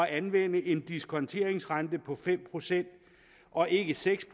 anvende en diskonteringsrente på fem procent og ikke seks